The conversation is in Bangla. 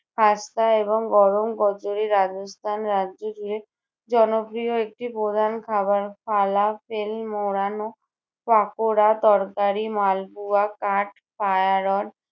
খাস্তা এবং গরম কচুরি রাজস্থান রাজ্য জুড়ে জনপ্রিয় একটি প্রধান খাবার ফালাফিল মোড়ানো পাকোড়া, তরকারি, মালপোয়া, কাঠ